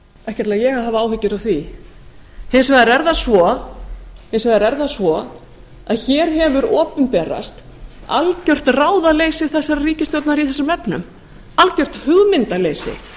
ekki ætla ég að hafa áhyggjur af því hins vegar er það svo að hér hefur opinberast algert ráðaleysi þessarar ríkisstjórnar í þessum efnum algert hugmyndaleysi